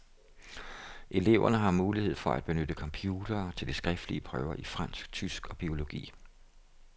Eleverne har mulighed for at benytte computere til de skriftlige prøver i fransk, tysk og biologi.